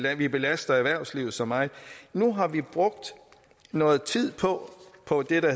at vi belaster erhvervslivet så meget nu har vi brugt noget tid på det der